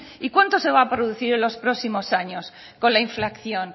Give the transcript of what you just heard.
y cuánto se va a producir los próximos años con la inflación